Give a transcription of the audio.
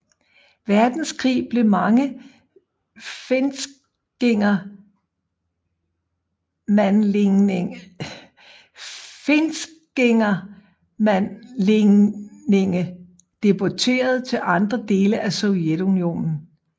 Verdenskrig blev mange finskingermanlændinge deporteret til andre dele af Sovjetunionen